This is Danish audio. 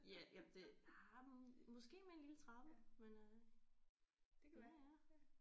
Ja jamen det nej måske med en lille trappe men øh ja ja